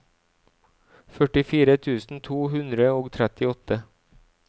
førtifire tusen to hundre og trettiåtte